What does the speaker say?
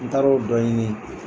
N taara o dɔ ɲini.